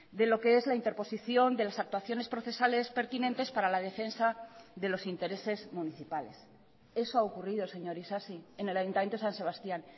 de lo que es la interposición de las actuaciones procesales pertinentes para la defensa de los intereses municipales eso ha ocurrido señor isasi en el ayuntamiento de san sebastián